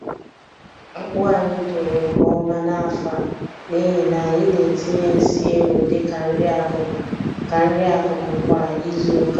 Akpu anyị toro nke ọma n'afọ a n'ihi na anyị na-etinye nsị ewu dị ka nri-akụkụ ka nri-akụkụ kwa izuka.